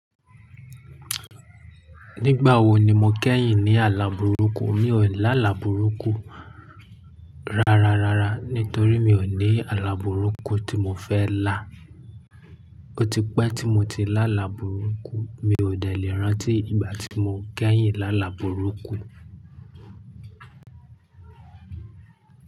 Nígbà wo ni mo kẹ́yìn ní àlà burúkú? Mi ò lálà burúkú ra-ra-ra-ra nítorí mi ò ní àlà burúkú tí mo fẹ́ lá. Ó ti pẹ́ tí mo ti lá là burúkú. Mi ò dẹ̀lẹ̀ rántí ìgbà tí mo kẹ́yìn lá là burúkú.